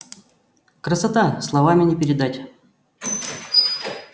красота словами не передать